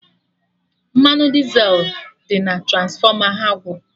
Mmanụ Dizel dị na Transfọma ha gwụrụ